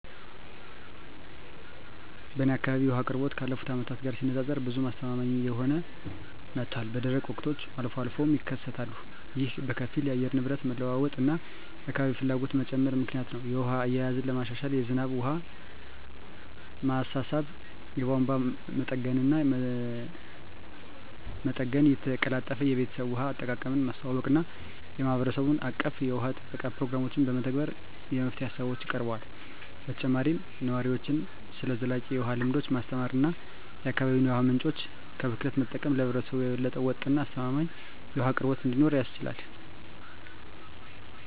በእኔ አካባቢ የውሃ አቅርቦት ካለፉት አመታት ጋር ሲነፃፀር ብዙም አስተማማኝ እየሆነ መጥቷል፣ በደረቅ ወቅቶች አልፎ አልፎም ይከሰታሉ። ይህ በከፊል የአየር ንብረት መለዋወጥ እና የአካባቢ ፍላጎት መጨመር ምክንያት ነው. የውሃ አያያዝን ለማሻሻል የዝናብ ውሃ ማሰባሰብ፣ የቧንቧ መጠገንና መጠገን፣ የተቀላጠፈ የቤተሰብ ውሃ አጠቃቀምን ማስተዋወቅ እና የማህበረሰብ አቀፍ የውሃ ጥበቃ ፕሮግራሞችን መተግበር የመፍትሄ ሃሳቦች ቀርበዋል። በተጨማሪም ነዋሪዎችን ስለ ዘላቂ የውሃ ልምዶች ማስተማር እና የአካባቢ የውሃ ምንጮችን ከብክለት መጠበቅ ለህብረተሰቡ የበለጠ ወጥ እና አስተማማኝ የውሃ አቅርቦት እንዲኖር ያስችላል።